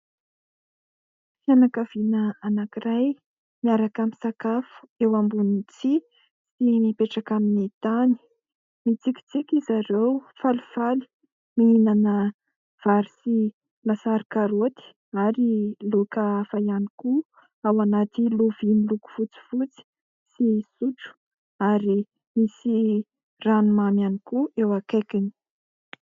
Fianakaviana anankiray miaraka misakafo eo ambonin'ny tsihy ny mipetraka amin'ny tany, mitsikitsiky zareo falifaly mihinana vary sy lasary karoty ary laoka hafa ihany koa ao anaty loviany loko fotsifotsy sy sotro ary misy ranomamy ihany koa eo akaikiny.